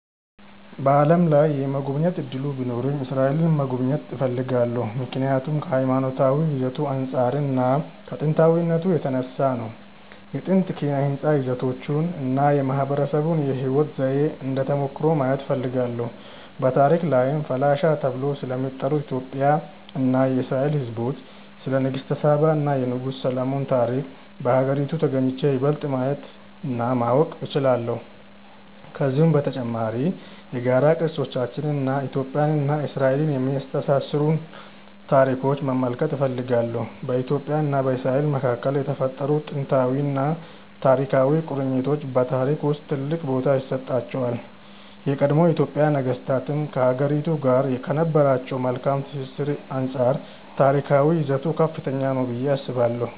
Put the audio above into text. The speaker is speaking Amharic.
በዓለም ላይ የመጎብኘት እድሉ ቢኖረኝ እስራኤልን መጎብኘት እፈልጋለሁ። ምክንያቱም ከሀይማኖታዊ ይዘቱ አንፃር እና ከጥንታዊነቱ የተነሳ ነው። የጥንት ኪነ ህንፃ ይዘቶቹን እና የማህበረሰቡን የህይወት ዘዬ እንደ ተሞክሮ ማየት እፈልጋለሁ። በታሪክ ላይም ፈላሻ ተብለው ስለሚጠሩት የኢትዮጵያ እና የእስራኤል ህዝቦች፣ ስለ ንግስተ ሳባ እና የንጉስ ሰሎሞን ታሪክ በሀገሪቱ ተግኝቼ ይበልጥ ማየት እና ማወቅ እችላለሁ። ከዚሁም በተጨማሪ የጋራ ቅርሶቻችንን እና ኢትዮጵያን እና እስራኤልን የሚያስተሳስሩንን ታሪኮች መመልከት እፈልጋለሁ። በኢትዮጵያ እና በእስራኤል መካከል የተፈጠሩት ጥንታዊና ታሪካዊ ቁርኝቶች በታሪክ ውስጥ ትልቅ ቦታ ይሰጣቸዋል። የቀድሞ የኢትዮጵያ ነገስታትም ከሀገሪቱ ጋር ከነበራቸው መልካም ትስስር አንፃር ታሪካዊ ይዘቱ ከፍተኛ ነው ብዬ አስባለሁ።